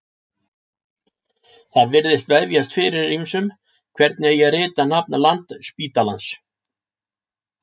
Það virðist vefjast fyrir ýmsum hvernig eigi að rita nafn Landspítalans.